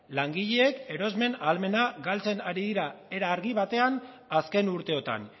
langileek erosmen ahalmena galtzen ari dira era argi batean azken urteotan